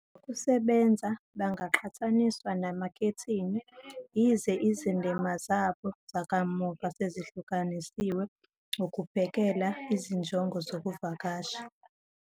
Ngokusebenza, bangaqhathaniswa namakhethini, yize izindima zabo zakamuva sezihlukanisiwe ukubhekela izinjongo zokuvakasha.